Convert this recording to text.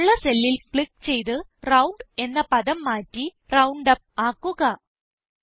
ഫലം ഉള്ള സെല്ലിൽ ക്ലിക്ക് ചെയ്ത് റൌണ്ട് എന്ന പദം മാറ്റി റൌണ്ടുപ്പ് ആക്കുക